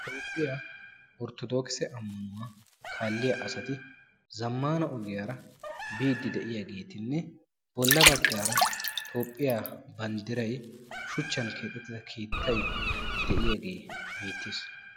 Toophphiyaa orttodookise ammanuwaa kaalliyaa asati zammaana ogiyaara biiddi de'iyaagetinne bolla baggaara toophphiyaa banddiray shuchchan keexettida keettay de'iyaagee beettees.